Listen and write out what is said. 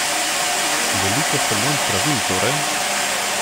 Veliko sprememb pravil torej?